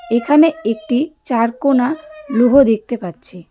এখানে একটি চারকোনা লোহো দেখতে পাচ্ছি.